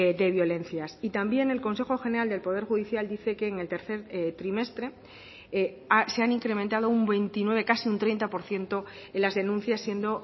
de violencias y también el consejo general del poder judicial dice que en el tercer trimestre se han incrementado un veintinueve casi un treinta por ciento en las denuncias siendo